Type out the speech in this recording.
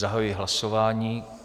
Zahajuji hlasování.